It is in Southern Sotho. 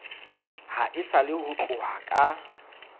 haesale ho tloha ka ho